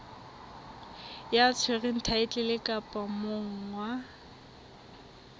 ya tshwereng thaetlele kapa monga